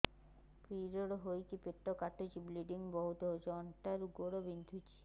period ହୋଇକି ପେଟ କାଟୁଛି ବ୍ଲିଡ଼ିଙ୍ଗ ବହୁତ ହଉଚି ଅଣ୍ଟା ରୁ ଗୋଡ ବିନ୍ଧୁଛି